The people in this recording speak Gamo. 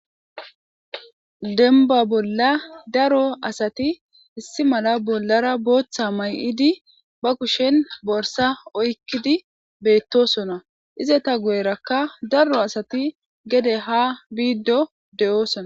denba bolla daro asati issi mala bollara booththa may7idi ba kushen borsa oykkidi beettosona iza ta gu7erakka daro asati gede ha biiddo de7oosona